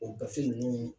O gafe ninnu